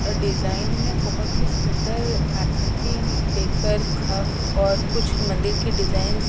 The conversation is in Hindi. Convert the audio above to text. अ डिज़ाइन में बहुत ही सुन्दर आकृति देखकर खम्भ और कुछ मंदिर के डिजाइन्स --